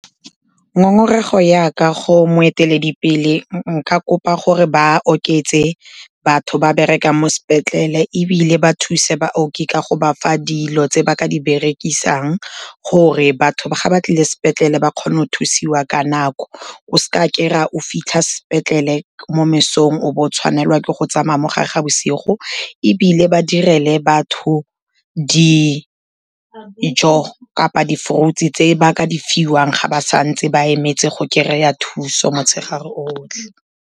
Ngongorego ya ka go moeteledipele, nka kopa gore ba oketse batho ba berekang mo sepetlele ebile ba thuse baoki ka go ba fa dilo tse ba ka di berekisang, gore batho ga ba tlile sepetlele ba kgone go thusiwa ka nako, o se ka kry-a o fitlha sepetlele mo mesong o bo o tshwanelwa ke go tsamaya mo gare ga bosigo. Ebile ba direle batho dijo kapa di-fruits-e tse ba ka di fiwang ga ba santse ba emetse go kry-a thuso motshegare otlhe.